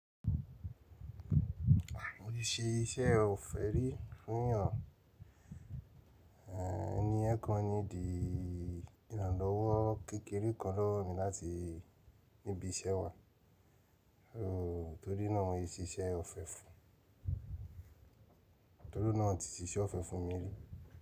Mo ti se iṣẹ́ ọ̀fẹ́ rí fún yan, ẹniyen kan ni di ìrànlọ́wọ́ kékeré kan lọ́wọ́ mi láti ibi iṣẹ́ wa. Torí mo n siṣẹ ọ̀fẹ́ fún, torí ohun náà ti ṣiṣẹ́ ọ̀fẹ́ fún mi rí.